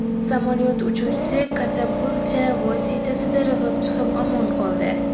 Samolyot uchuvchisi katapulta vositasida irg‘ib chiqib, omon qoldi.